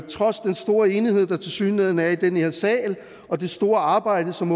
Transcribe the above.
trods den store enighed der tilsyneladende er i den her sal og det store arbejde som